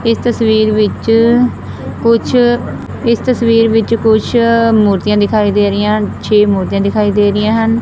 ਇਸ ਤਸਵੀਰ ਵਿੱਚ ਕੁਛ ਇਸ ਤਸਵੀਰ ਵਿੱਚ ਕੁੱਛ ਮੂਰਤੀਆਂ ਦਿਖਾਈ ਦੇ ਰਾਹੀਆਂ ਹਨ ਛੇ ਮੂਰਤੀਆਂ ਦਿਖਾਈ ਦੇ ਰਹੀਆਂ ਹਨ।